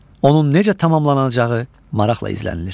Onun necə tamamlanacağı maraqla izlənilir.